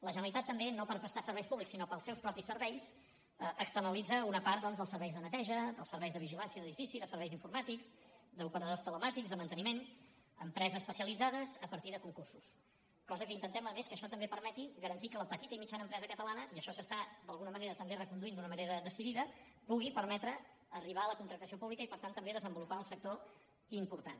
la generalitat també no per prestar serveis públics sinó per als seus propis serveis externalitza una part dels serveis de neteja dels serveis de vigilància d’edificis dels serveis informàtics d’operadors telemàtics de manteniment a empreses especialitzades a partir de concursos cosa que intentem a més que això també permeti garantir que la petita i mitjana empresa catalana i això s’està d’alguna manera recon duint d’una manera decidida pugui permetre arribar a la contractació pública i per tant també desenvolupar un sector important